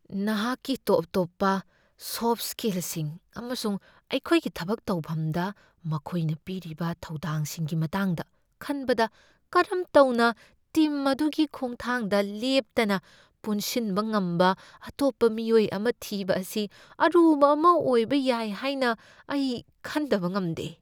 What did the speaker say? ꯅꯍꯥꯛꯀꯤ ꯇꯣꯞ ꯇꯣꯞꯄ ꯁꯣꯐꯠ ꯁ꯭ꯀꯤꯜꯁꯤꯡ ꯑꯃꯁꯨꯡ ꯑꯩꯈꯣꯏꯒꯤ ꯊꯕꯛ ꯇꯧꯐꯝꯗ ꯃꯈꯣꯏꯅ ꯄꯤꯔꯤꯕ ꯊꯧꯗꯥꯡꯁꯤꯡꯒꯤ ꯃꯇꯥꯡꯗ ꯈꯟꯕꯗ ꯀꯔꯝ ꯇꯧꯅ ꯇꯤꯝ ꯑꯗꯨꯒꯤ ꯈꯣꯡꯊꯥꯡꯗ ꯂꯦꯞꯇꯅ ꯄꯨꯟꯁꯤꯟꯕ ꯉꯝꯕ ꯑꯇꯣꯞꯄ ꯃꯤꯑꯣꯏ ꯑꯃ ꯊꯤꯕ ꯑꯁꯤ ꯑꯔꯨꯕ ꯑꯃ ꯑꯣꯏꯕ ꯌꯥꯏ ꯍꯥꯏꯅ ꯑꯩ ꯈꯟꯗꯕ ꯉꯝꯗꯦ꯫